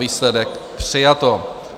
Výsledek: přijato.